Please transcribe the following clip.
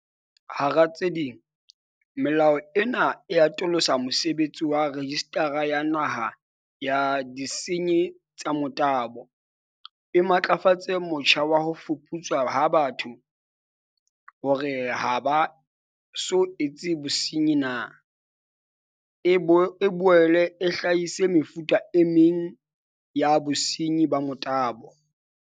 Hara tse ding, melao ena e atolosa mosebetsi wa Rejistara ya Naha ya Disenyi tsa Motabo, e matlafatse motjha wa ho fuputswa ha batho hore ha ba so etse bosenyi na, e boele e hlahise mefuta e meng ya bosenyi ba motabo.